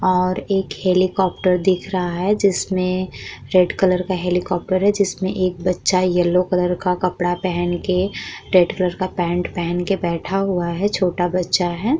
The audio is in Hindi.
और एक हेलीकॉप्टर दिख रहा है जिसमें रेड कलर का हेलीकॉप्टर है। जिसमें एक बच्चा येलो कलर का कपड़ा पहन के रेड कलर का पैंट पहन कर बैठा हुआ है। छोटा बच्चा है।